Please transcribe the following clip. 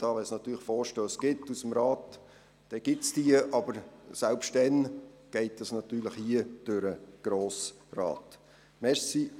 Sollte der Rat allerdings entsprechende Vorstösse einreichen, wären sie dann auf dem Tisch, aber selbst dann würden sie natürlich vom Grossen Rat behandelt.